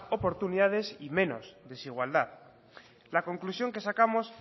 oportunidades y menos desigualdad la conclusión que sacamos